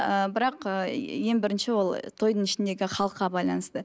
ыыы бірақ ыыы ең бірінші ол тойдың ішіндегі халыққа байланысты